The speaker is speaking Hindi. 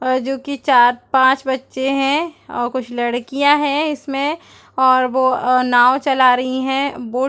और जो की चार-पाँच बच्चे है और कुछ लड़कियाँ है इसमें और वो अ नाव चला रही है बोट --